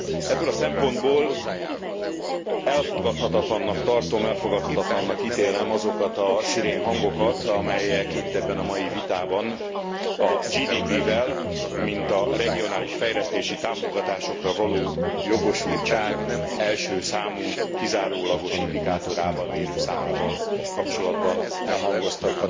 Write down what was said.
Ebből a szempontból elfogadhatatlannak tartom, elfogadhatatlannak ítélem azokat a szirénhangokat, amelyek itt ebben a mai vitában a GDP vel mint a regionális fejlesztési támogatásokra való jogosultság első számú kizárólagos indikátorával, mérőszámával kapcsolatban elhangoztak.